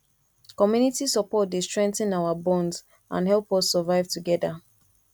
community support dey strengthen our bonds and help us survive together